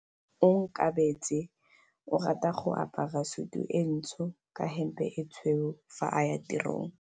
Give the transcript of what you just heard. Onkabetse o rata go apara sutu e ntsho ka hempe e tshweu fa a ya tirong.